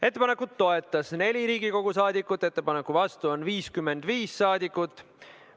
Ettepanekut toetas 4 Riigikogu liiget, ettepaneku vastu oli 55 liiget.